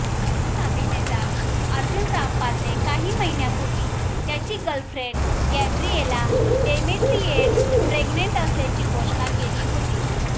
बॉलिवूड अभिनेता अर्जुन रामपालने काही महिन्यांपूर्वी त्याची गर्लफ्रेंड गॅब्रिएला डेमेट्रिएड्स प्रेग्नंट असल्याची घोषणा केली होती